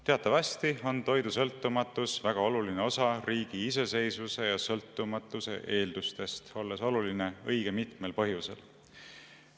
Teatavasti on toidusõltumatus väga oluline riigi iseseisvuse ja sõltumatuse eeldus, olles oluline õige mitmel põhjusel.